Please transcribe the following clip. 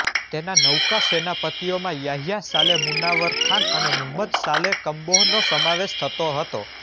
તેના નૌકા સેનાપતિઓમાં યાહ્યા સાલેહ મુનાવર ખાન અને મુહમ્મદ સાલેહ કમ્બોહનો સમાવેશ થતો હતો